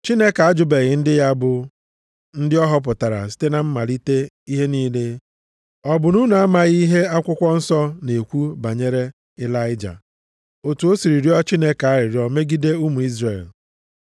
Chineke ajụbeghị ndị ya bụ ndị ọ họpụtara site na mmalite ihe niile. Ọ bụ na unu amaghị ihe akwụkwọ nsọ na-ekwu banyere Ịlaịja, otu o siri rịọ Chineke arịrịọ megide ụmụ Izrel?